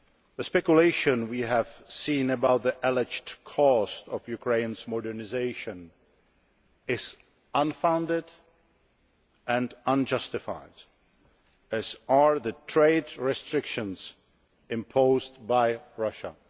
The speculation we have seen about the alleged cost of Ukraine's modernisation is unfounded and unjustified, as are the trade restrictions imposed by Russia.